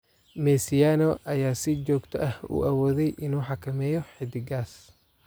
Mesiano ayaa si joogto ah u awooday inuu xakameeyo xidiggaas.